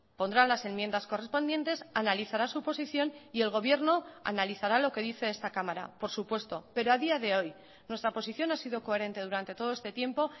pondrá las enmiendas correspondientes analizará su posición y el gobierno analizará lo que dice esta cámara por supuesto pero a día de hoy nuestra posición ha sido coherente durante todo este tiempo